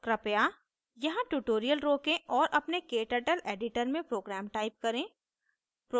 कृपया यहाँ tutorial रोकें और अपने kturtle editor में program type करें